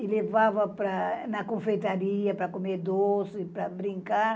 e levava para, na confeitaria para comer doce, para brincar.